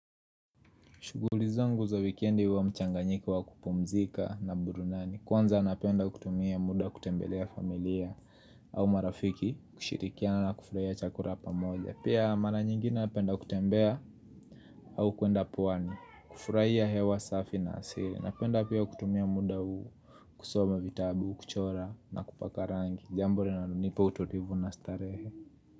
Shughuli zangu za wekendi huwa mchanganyiko wa kupumzika na burunani Kwanza napenda kutumia muda kutembelea familia au marafiki kushirikiana na kufurahia chakula pamoja Pia mara nyingine napenda kutembea au kuenda pwani kufurahia hewa safi na asili Napenda pia kutumia muda kusoma vitabu, kuchora na kupaka rangi jambo linalonipa utulivu na starehe.